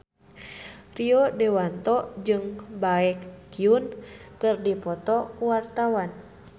Rio Dewanto jeung Baekhyun keur dipoto ku wartawan